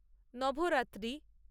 Navratri